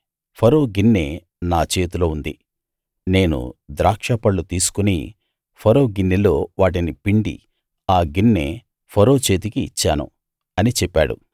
ఫరో గిన్నె నా చేతిలో ఉంది నేను ద్రాక్షపళ్ళు తీసుకుని ఫరో గిన్నెలో వాటిని పిండి ఆ గిన్నె ఫరో చేతికి ఇచ్చాను అని చెప్పాడు